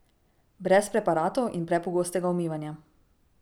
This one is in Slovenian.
Brez preparatov in prepogostega umivanja.